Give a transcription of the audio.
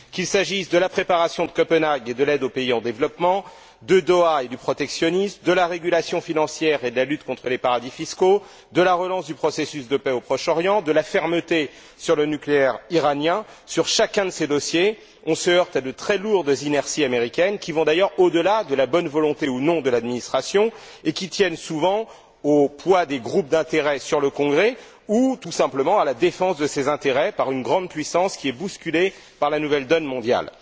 Qu'il s'agisse de la préparation de Copenhague et de l'aide aux pays en développement, de Doha et du protectionnisme, de la régulation financière et de la lutte contre les paradis fiscaux, de la relance du processus de paix au Proche Orient ou de la fermeté sur le nucléaire iranien, on se heurte pour chacun de ces dossiers à de très lourdes inerties américaines, qui vont d'ailleurs au delà de la bonne volonté, ou non, de l'administration, et qui tiennent souvent au poids des groupes d'intérêt sur le Congrès, ou tout simplement à la défense de ses intérêts par une grande puissance qui est bousculée par la nouvelle donne mondiale.